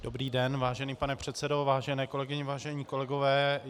Dobrý den, vážený pane předsedo, vážené kolegyně, vážení kolegové.